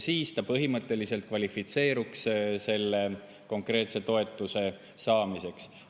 Siis nad põhimõtteliselt kvalifitseeruks selle konkreetse toetuse saamiseks.